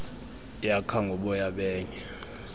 yakha ngoboya benye